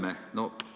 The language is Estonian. Härra Helme!